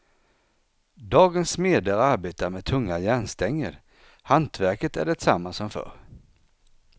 Dagens smeder arbetar med tunga järnstänger, hantverket är detsamma som förr.